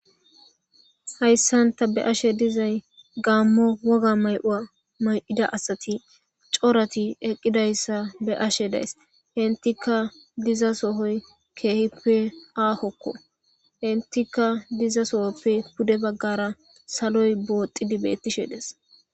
Hayssan ta be'ashe dizay gaammo woga may7ua may7ida asati corati eqqidayssa be ashe days hentika diza sohoy keehippe aakokko hentika diza sohoppe pude baggara saloy booxidi bettishe des.